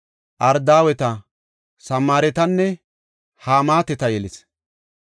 Ardaaweta, Samaaretanne Hamaateta yelis.